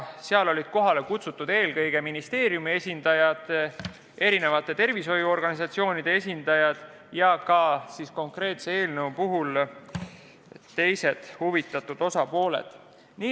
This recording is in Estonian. Kohale olid kutsutud ministeeriumi ja erinevate tervishoiuorganisatsioonide esindajad, samuti teised konkreetsest eelnõust huvitatud osapooled.